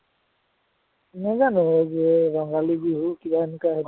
নাজানো এই যে ৰঙালী বিহুৰ কিবা এনেকুৱা